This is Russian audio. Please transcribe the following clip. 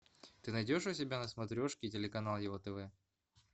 ты найдешь у себя на смотрешке телеканал его тв